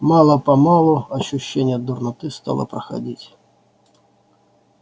мало-помалу ощущение дурноты стало проходить